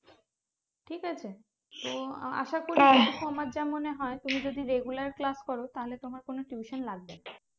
ঠিক আছে তো আ~ আশা করি আমার যা মনে হয় তুমি যদি regular class করো তাহলে তোমার কোনো tuition লাগবে না